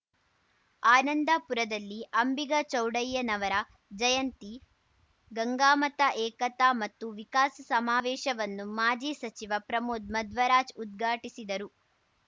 ಆನಂದಪುರದಲ್ಲಿ ಅಂಬಿಗ ಚೌಡಯ್ಯನವರ ಜಯಂತಿ ಗಂಗಾಮತ ಏಕತಾ ಮತ್ತು ವಿಕಾಸ ಸಮಾವೇಶವನ್ನು ಮಾಜಿ ಸಚಿವ ಪ್ರಮೋದ್‌ ಮಧ್ವರಾಜ್‌ ಉದ್ಘಾಟಿಸಿದರು